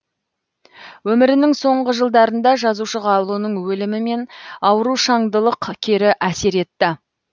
өмірінің соңғы жылдарында жазушыға ұлының өлімі мен аурушаңдылылық кері әсер етті